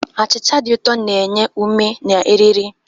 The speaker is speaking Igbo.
Achịcha dị ụtọ na-enye ume na eriri.